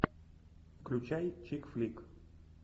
включай чик флик